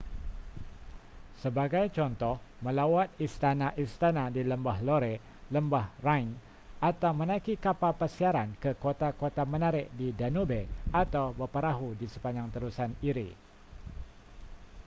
sebagai contoh melawat istana-istana di lembah loire lembah rhine atau menaiki kapal persiaran ke kota-kota menarik di danube atau berperahu di sepanjang terusan erie